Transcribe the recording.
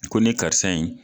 Ko nin karisa in